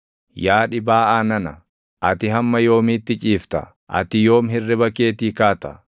Yaa dhibaaʼaa nana, ati hamma yoomiitti ciifta? Ati yoomi hirriba keetii kaata?